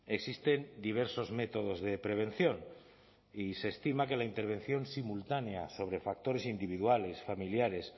existen diversos métodos de prevención y se estima que la intervención simultánea sobre factores individuales familiares